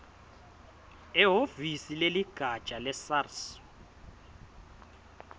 ehhovisi leligatja lesars